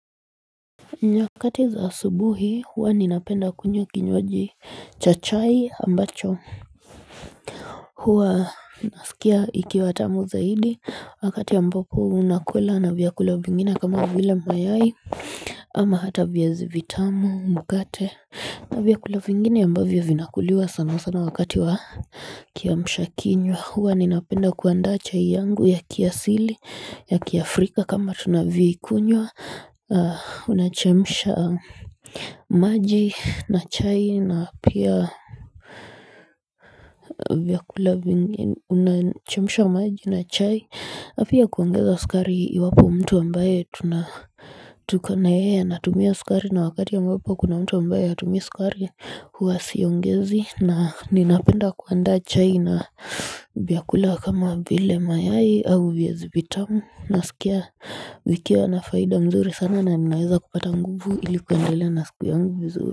Nyakati za asubuhi huwa ninapenda kunywa kinywaji cha chai ambacho huwa nasikia ikiwa tamu zaidi wakati ambapo unakwela na vyakula vingine kama vile mayai ama hata viazi vitamu mkate vyakula vingine ambavyo vinakuliwa sana sana wakati wa kiamshakinywa huwa ninapenda kuandaa chai yangu ya kiasili ya kiafrika kama tunavyoikunywa Unachemsha maji na chai na pia vyakula vingine Unachemsha maji na chai na pia kuongeza sukari iwapo mtu ambaye tuko na yeye anatumia sukari na wakati ambapo kuna mtu ambaye hatumii sukari huwa siongezi na ninapenda kuandaa chai na vyakula kama vile mayai au viazi vitamu nasikia zikiwa na faida nzuri sana na ninaweza kupata nguvu ili kuendelea na siku yangu vizuri.